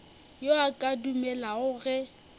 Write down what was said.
yo a ka dumelago ge